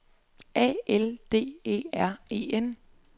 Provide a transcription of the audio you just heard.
A L D E R E N